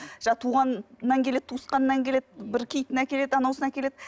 жаңағы туғаннан келеді туысқаннан келеді бір киітін әкеледі анауысын әкеледі